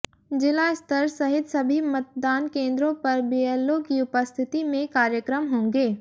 जिला स्तर सहित सभी मतदान केंद्रों पर बीएलओ की उपस्थिति में कार्यक्रम होंगे